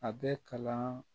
A bɛ kalan